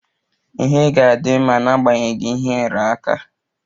Ọnwụ egbuchughi ji ejiri chụọ aja, emesie o puo ome